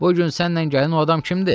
Bu gün sənlə gələn o adam kimdir?